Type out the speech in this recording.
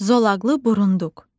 Zolaqlı Burunduk.